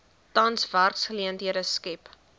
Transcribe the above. tans werksgeleenthede skep